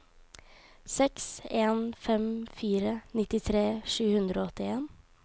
seks en fem fire nittitre sju hundre og åttien